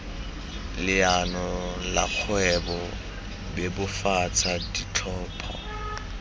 leano la kgwebo bebofatsa ditlhopho